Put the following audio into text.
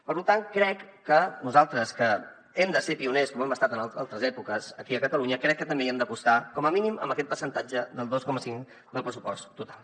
per tant crec que nosaltres que hem de ser pioners com ho hem estat en altres èpoques aquí a catalunya també hi hem d’apostar com a mínim amb aquest percentatge del dos coma cinc del pressupost total